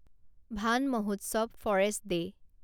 van Mahotsav forest day